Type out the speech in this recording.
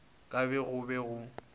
ka ge go be go